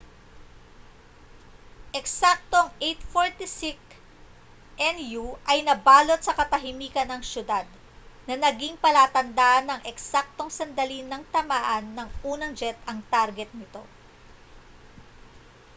eksaktong 8:46 n.u. ay nabalot sa katahimikan ang siyudad na naging palatandaan ng eksaktong sandali nang tamaan ng unang jet ang target nito